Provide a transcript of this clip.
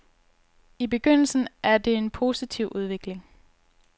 I begyndelsen er det en positiv udvikling.